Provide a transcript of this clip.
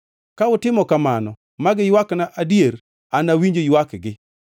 Ka utimo kamano ma giywakna, adier anawinj ywakgi